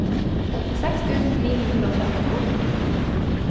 åttiseks tusen ni hundre og trettito